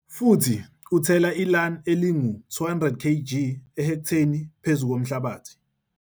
Futhi uthela iLAN elingu-200 kg ehekthelini phezulu komhlabathi.